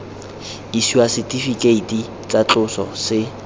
isiwa setifikeiti tsa tloso se